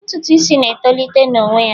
Ntutu isi na etolite n'onwe ya.